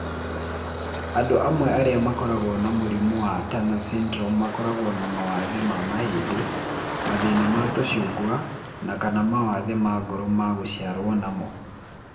Andũ amwe arĩa makoragwo na mũrimũ wa Turner syndrome makoragwo na mawathe ma mahĩndĩ, mathĩna ma tũcungwa, na/kana mawathe ma ngoro ma gũciarũo namo.